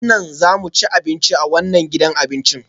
A daren nan za mu ci abinci a wannan gidan abincin?